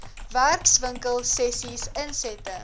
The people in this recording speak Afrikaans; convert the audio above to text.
werkswinkel sessies insette